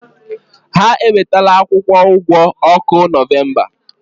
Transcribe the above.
Ha ewetala akwụkwọ ụgwọ ọkụ Nọvemba.